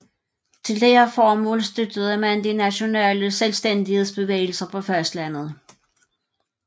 Til dette formål støttede man de nationale selvstændighedsbevægelser på fastlandet